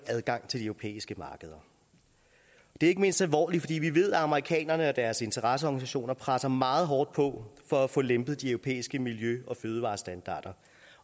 adgang til de europæiske markeder det er ikke mindst alvorligt fordi vi ved at amerikanerne og deres interesseorganisationer presser meget hårdt på for at få lempet de europæiske miljø og fødevarestandarder